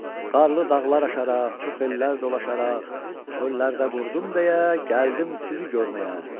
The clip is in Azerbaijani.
Qarlı dağlar aşaraq, çox ellər dolaşaraq, çöllərdə qurdum deyə gəldim sizi görməyə.